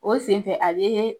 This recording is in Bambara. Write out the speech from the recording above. O senfɛ a be